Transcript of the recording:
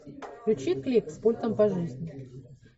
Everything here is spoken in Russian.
включи клип с пультом по жизни